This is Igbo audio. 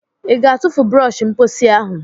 Ị ga-atụfu brọsh mposi ahụ?